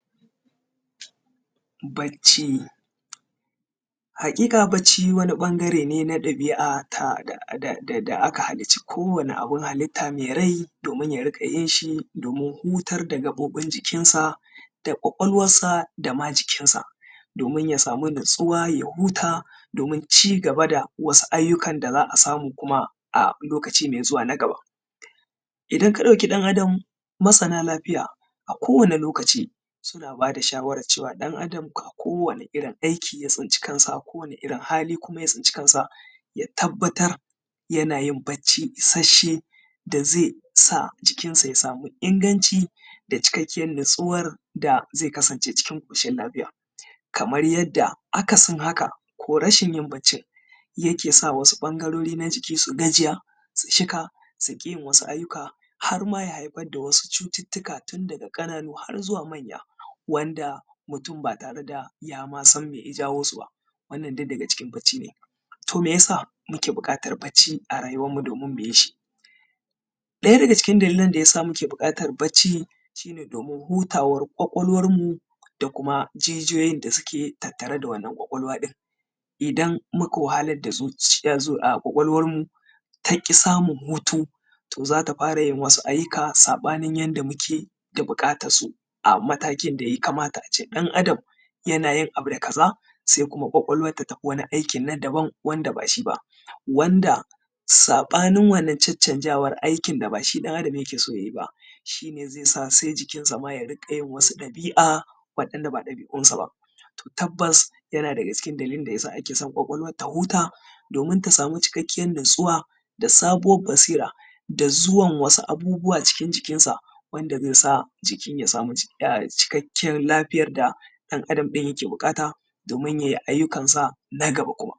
Bacci, haƙiƙa bacci wani ɓangare ne na ɓabi’a da aka halicci kowane abin halitta mai rai domin ya riƙa yin shi domin hutar da gaɓoɓin jikinsa, da ƙwaƙwalwansa, da ma jikinsa. Domin ya samu natsuwa ya huta, domin cigaba da wasu ayyukan da za a samu kuma a lokaci mai zuwa na gaba. Idan ka ɗauki ɗan Adam, masana lafiya a kowane lokaci suna ba da shawaran cewar ɗan Adam a kowane irin aiki ya tsinci kansa a kowane irin hali kuma ya tsinci kansa ya tabbatar yana yin bacci isasshe da zai sa jikinsa ya samu inganci da cikakkiyar natsuwar da zai kasance cikin ƙoshin lafiya. Kamar yanda akasin haka ko rashin yin baccin yake sa wasu ɓangarori na jiki su gajiya su shika su ƙi yin wasu aiyyuka har ma ya haifar da wasu cututtuka daga ƙananu har zuwa manya. Wanda mutun ba tare da yama sanan mai ya jawo su ba. Wannan duk daga cikin bacci ne. To mai yasa muke buƙatan bacci a rayuwan mu domin mu yi shi? ɗaya daga cikin dalilan da yasa muke buƙatan bacci shine domin hutawar kwakwalwan mu da kuma jijiyoyin da suke tare da wanan kwakwalwa ɗin. Idan muka wahalar da su kwakwalwan mu taki samu hutu to zata fara yin wasu ayyuka saɓanin yanda muke da buƙatansu a matakin da ya kamata a ce ɗan adam ya na yin abu kaza, sai kuma ƙwaƙwalwan ta tafi wanin aiki na daban, wanda ba shi. Wanda saɓanin wannan cancanzawa aiki da ba shi ɗan Adam yake so yayi ba, shi ne zai sa sai jikansa ma ya rinƙa wasu ɗabi'a wa'inda ba ɗabi'unsa ba, to tabbas yana daga cikin dalilan da yasa ake so ƙwaƙwalwan ta huta domin ta samu cikakkiyar natsuwa da sabuwar basira da zuwan wasu abubuwa cikin jikinsa, wanda zai sa jikin ya samu cikakkiyar lafiyar da ɗan Adam ɗin yake buƙata domin ya yi aiyyukansa na gaba.